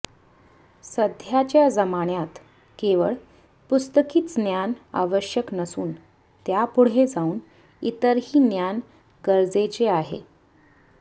सध्याच्या जमान्यात केवळ पुस्तकीच ज्ञान आवश्यक नसून त्या पुढे जाऊन इतर ही ज्ञान गरजेचे आहे